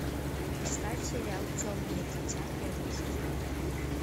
поставь сериал темное дитя первый сезон